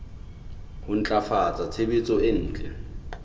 ho ntlafatsa tshebetso e ntle